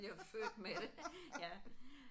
Jeg er født med det ja